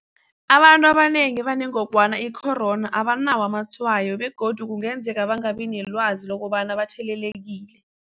Abantu abanengi abanengogwana i-corona abanawo amatshwayo begodu kungenzeka bangabi nelwazi lokobana bathelelekile.